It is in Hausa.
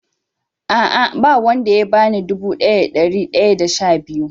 A'a na wan da ya bani dubu daya da dari daya da sha biyu.